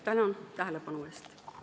Tänan tähelepanu eest!